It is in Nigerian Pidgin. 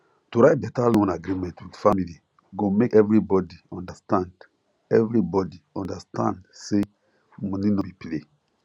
to write better loan agreement with family go make everybody understand everybody understand say money no be play